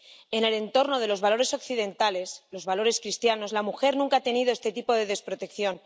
En el entorno de los valores occidentales, de los valores cristianos, la mujer nunca ha tenido este tipo de desprotección.